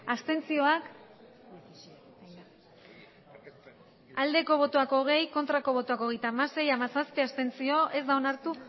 abstentzioa hogei bai hogeita hamasei ez hamazazpi abstentzio ez da onartu